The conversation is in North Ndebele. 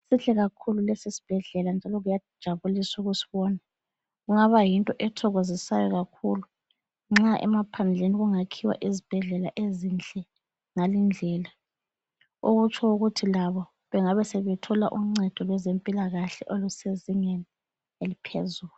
Sihle kakhulu lesi isbhedlela njalo kuyajabulisa ukusibona. Kungaba yinto ethokozisayo kakhulu nxa emaphandleni kungakhiwa izibhedlela ezinhle ngale indlela. Okutsho ukuthi labo bengabe sebethola uncedo lwezephilakahle olusezingeni eliphezulu.